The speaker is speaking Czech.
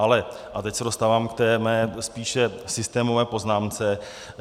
Ale, a teď se dostávám k své spíše systémové poznámce.